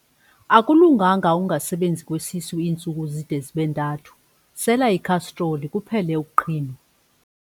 Akulunganga ukungasebenzi kwesisu iintsuku zide zibe ntathu, sela ikhastroli kuphele ukuqhinwa.